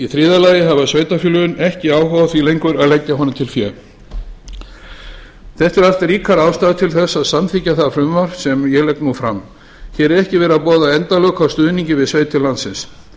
þriðja lagi hafa sveitarfélögin ekki áhuga á því lengur að leggja honum til bil þetta eru allt ríkar ástæður til að samþykkja það frumvarp sem ég legg nú fram hér er ekki verið að boða endalok á stuðningi við sveitir landsins